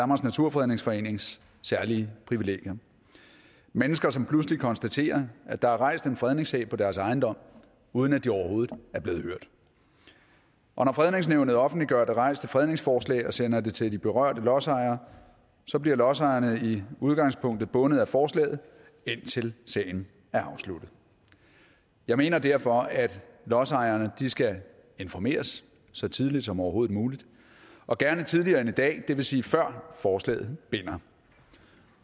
naturfredningsforenings særlige privilegier mennesker som pludselig konstaterer at der er rejst en fredningssag på deres ejendom uden at de overhovedet er blevet hørt når fredningsnævnet offentliggør det rejste fredningsforslag og sender det til de berørte lodsejere bliver lodsejerne i udgangspunktet bundet af forslaget indtil sagen er afsluttet jeg mener derfor at lodsejerne skal informeres så tidligt som overhovedet muligt og gerne tidligere end i dag det vil sige før forslaget binder